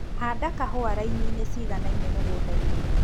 Handa kahũa raininĩ ciiganaine mũgundainĩ.